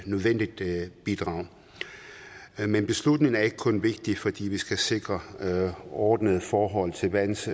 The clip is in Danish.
nødvendigt bidrag men beslutningen er ikke kun vigtig fordi vi skal sikre ordnede forhold til vands